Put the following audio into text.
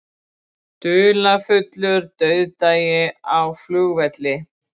Dularfullur dauðdagi á flugvelli